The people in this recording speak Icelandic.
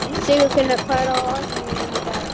Sigurfinna, hvað er á áætluninni minni í dag?